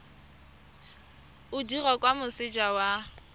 o dirwa kwa moseja wa